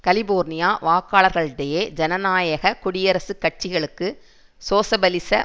California வாக்காளர்களிடையே ஜனநாயக குடியரசுக் கட்சிகளுக்கு சோசிபலிச